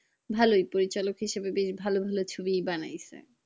ভালোই পরিচালক হিসাবে বেশ ভালো ভালো ছবিই বানাই